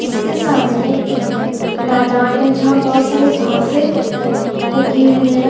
इसके सामने एक मैदान हे जहा बोहोत सारी घासे उगी हुई हे.